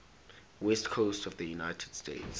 west coast of the united states